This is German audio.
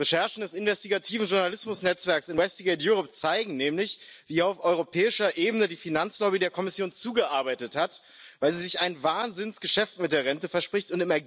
Recherchen des investigativen Journalismus Netzwerks Investigate Europe zeigen nämlich, wie auf europäischer Ebene die Finanzlobby der Kommission zugearbeitet hat, weil sie sich ein Wahnsinnsgeschäft mit der Rente verspricht.